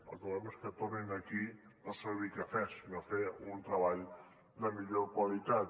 el que volem és que tornin aquí no a servir cafès sinó a fer un treball de millor qualitat